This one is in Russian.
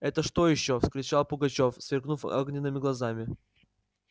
это что ещё вскричал пугачёв сверкнув огненными глазами